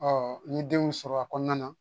n ye denw sɔrɔ a kɔnɔna na